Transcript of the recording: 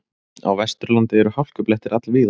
Á Vesturlandi eru hálkublettir all víða